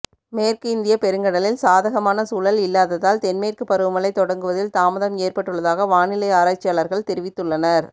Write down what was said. மேற்கு இந்திய பெருங்கடலில் சாதகமான சூழல் இல்லாததால் தென்மேற்கு பருவமழை தொடங்குவதில் தாமதம் ஏற்பட்டுள்ளதாக வானிலை ஆராய்ச்சியாளர்கள் தெரிவித்துள்ளனர்